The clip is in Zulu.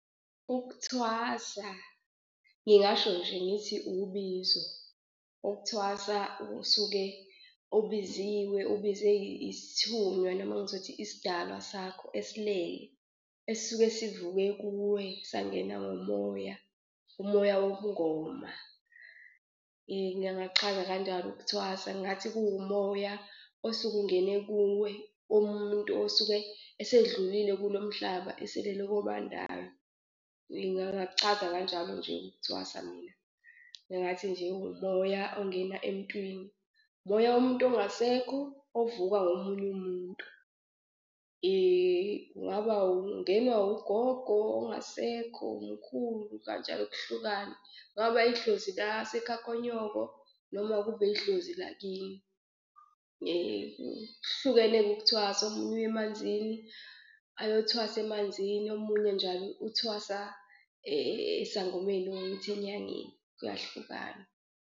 Ukuthwasa ngingasho nje ngithi ubizo. Ukuthwasa usuke ubiziwe ubizwe isithunywa noma ngizothi isidalwa sakho esilele esisuke sivuke kuwe sangena ngomoya umoya wobungoma. Ngingachaza kanjalo ukuthwasa. Ngathi kuwumoya osuke ungene kuwe umuntu osuke esedlulile kulo mhlaba eselele kobandayo, ngingakuchaza kanjalo nje ukuthwasa mina. Ngingathi nje umoya ongena emuntwini, umoya womuntu ongasekho ovuka ngomunye umuntu , kungaba ungenwa ugogo ongasekho, umkhulu kanjalo kuhlukana. Kungaba idlozi lasekhaya konyoko noma kube idlozi lakini. Kuhlukene-ke ukuthwasa, omunye uya emanzini ayothwasa emanzini, omunye njalo uthwasa esangomeni enyangeni kuyahlukana.